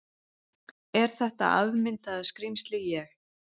Er þetta afmyndaða skrímsli ég?